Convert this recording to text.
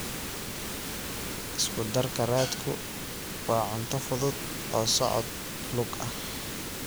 Isku darka raadku waa cunto fudud oo socod lug ah.